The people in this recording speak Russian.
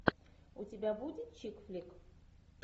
у тебя будет чик флик